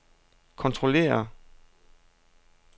kontrollere